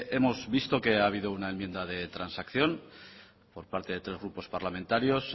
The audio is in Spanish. hemos visto que ha habido una enmienda de transacción por parte de tres grupos parlamentarios